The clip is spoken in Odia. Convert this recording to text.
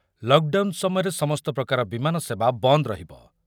ଲକ୍ ଡାଉନ୍ ସମୟରେ ସମସ୍ତ ପ୍ରକାର ବିମାନ ସେବା ବନ୍ଦ ରହିବ।